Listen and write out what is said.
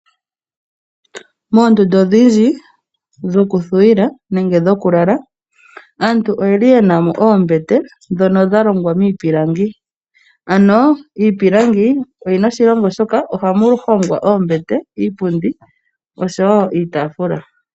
Moondunda odhindji dhoku thuwila nenge dhoku lala aantu oyeli yena mo oombete ndhono dha longwa miipilangi, ano iipilangi oshinima shoka sha simana, oshoka ohamu hongwa iipundi, oombete oshowo iitaafula.